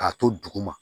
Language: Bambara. K'a to duguma